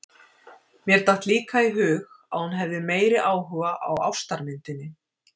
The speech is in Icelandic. Mér datt líka í hug að hún hefði meiri áhuga á ástarmyndinni!